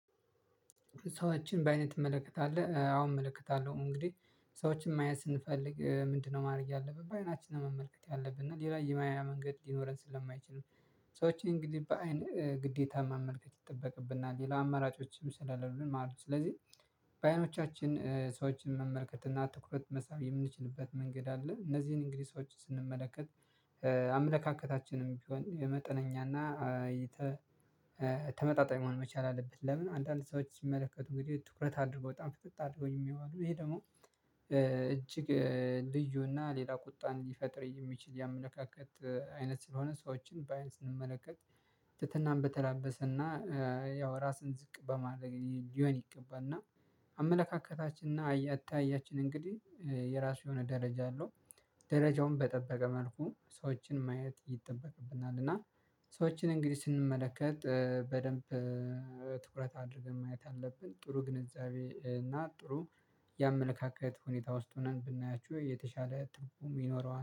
ሰዎችን በአይነት እመለከታለሁ አሁን እመለከታለሁ እንግዲህ ሰዎችን ማየት ስንፈልግ ምንድነው ማድረግ ያለብን በአይናችን መመልከት ያለብህ እና ሌላ የማያ መንገድ ሊኖረን ስለማይችል። ሰዎች እንግዲህ በአይን ግዴታ መመልከት ይጠበቅብናል ሌላ አመራጮችም ስላሉልን ማሉ ስለዚህ በአይኖቻችን ሰዎችን መመልከት እና ትኩረት መሳብ የምንችልበት መንገድ አለ። እነዚህን እንግዲህ ሰዎችን ስንመለከት አምለካከታችንም ቢሆን የመጠነኛና የተ ተመጣጣኝ መሆን መቻል አለብህ። ለምን አንዳንድ ሰዎች ይመለከቱ እንግዲህ ትኩረት አድርጎ በጣም ፍጥጥ አድርጎኝ የሚያውቁኝ ይሄ ደግሞ እጅግ ልዩና ሌላ ቁጣን ሊፈጥር የሚችል ያመለካከት አይነት ስለሆነ ሰዎችን በአይን ስንመለከት። ትትናን በተላበሰና ያው ራስን ዝቅ በማድረግ ሊሆን ይገባል። እና አመለካከታችንና አታያችን እንግዲህ የራሱ የሆነ ደረጃ አለው። ደረጃውን በጠበቀ መልኩ ሰዎችን ማየት ይጠበቅብናል እና ሰዎችን እንግዲህ ስንመለከት በደንብ ትኩረት አድርገን ማየት አለብን። ጥሩ ግንዛቤ እና ጥሩ ነው የአመለካከት ሁኔታ ውስጥ ሆነን ብናያችሁ የተሻለ ጥሩ የሚኖረው